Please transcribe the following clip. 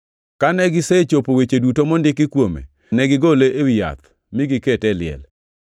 Kane gisechopo weche duto mondiki kuome, ne gigole ewi yath mi gikete e liel.